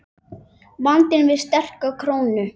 Vandinn við sterka krónu